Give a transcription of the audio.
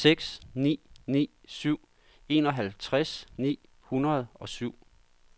seks ni ni syv enoghalvtreds ni hundrede og syv